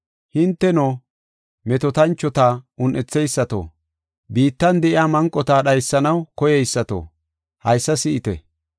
Hinteno, metootanchota un7etheysato, biittan de7iya manqota dhaysanaw koyeysato, haysa si7ite!